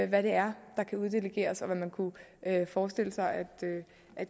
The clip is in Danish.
hvad det er der kan uddelegeres og hvad man kunne forestille sig